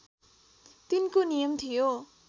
तिनको नियम थियो